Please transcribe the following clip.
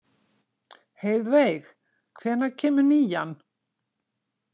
Heiðveig, hvenær kemur nían?